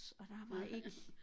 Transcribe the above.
Og der var ikke